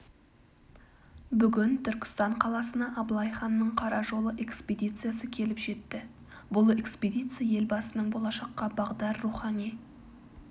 бүгін түркістан қаласына абылай ханның қара жолы экспедициясы келіп жетті бұл экспедиция елбасының болашаққа бағдар рухани